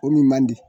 O min man di